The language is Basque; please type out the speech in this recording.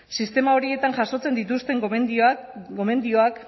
sistema horietan jasotzen dituzten gomendioek